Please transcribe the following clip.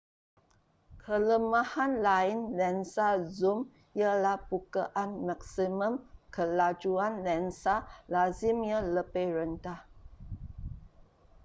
kelemahan lain lensa zoom ialah bukaan maksimum kelajuan lensa lazimnya lebih rendah